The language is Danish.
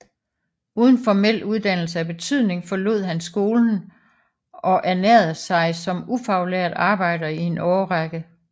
Uden formel uddannelse af betydning forlod han skolen og ernærede sig som ufaglært arbejder i en årrække